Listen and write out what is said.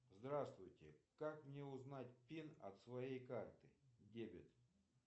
здравствуйте как мне узнать пин от своей карты дебет